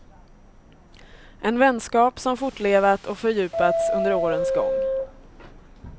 En vänskap som fortlevat och fördjupats under årens gång.